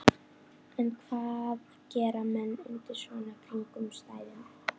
En hvað gera menn undir svona kringumstæðum?